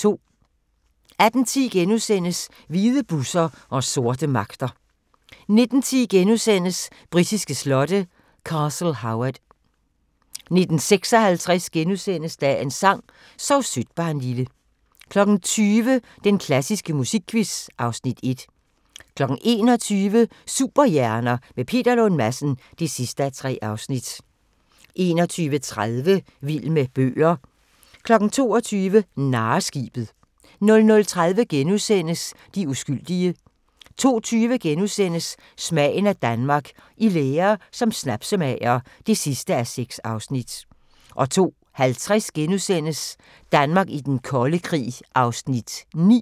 18:10: Hvide busser og sorte magter * 19:10: Britiske slotte: Castle Howard (2:6)* 19:56: Dagens sang: Sov sødt barnlille * 20:00: Den klassiske musikquiz (Afs. 1) 21:00: Superhjerner – med Peter Lund Madsen (3:3) 21:30: Vild med bøger 22:00: Narreskibet 00:30: De uskyldige * 02:20: Smagen af Danmark – I lære som snapsemager (6:6)* 02:50: Danmark i den kolde krig (9:12)*